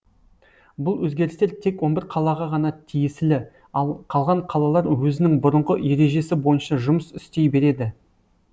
бұл өзгерістер тек он бір қалаға ғана тиесілі ал қалған қалалар өзінің бұрынғы ережесі бойынша жұмыс істей береді